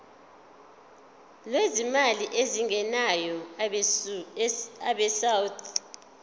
lwezimali ezingenayo abesouth